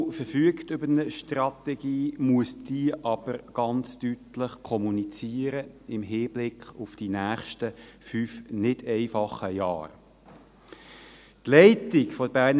Die BFH verfügt über eine Strategie, muss diese aber im Hinblick auf die nächsten fünf nicht einfachen Jahre ganz deutlich kommunizieren.